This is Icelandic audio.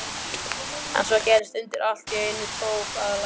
En svo gerðist undrið: Allt í einu tók að lægja.